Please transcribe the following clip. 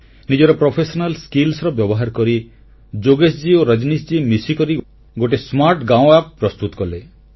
ନିଜର ପେଶାଦାର ଦକ୍ଷତାର ବ୍ୟବହାର କରି ଯୋଗେଶ ଓ ରଜନୀଶ ମହାଶୟ ମିଶିକରି ଗୋଟିଏ ସ୍ମାର୍ଟ ଗାଉଁ App ଆପ୍ ପ୍ରସ୍ତୁତ କଲେ